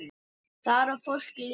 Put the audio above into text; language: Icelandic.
Þar á fólk líka heima.